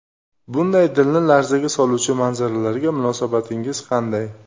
Bunday dilni larzaga soluvchi manzaralarga munosabatingiz qanday?